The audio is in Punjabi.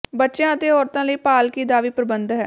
ਬੱਚਿਆਂ ਅਤੇ ਔਰਤਾਂ ਲਈ ਪਾਲਕੀ ਦਾ ਵੀ ਪ੍ਰਬੰਧ ਹੈ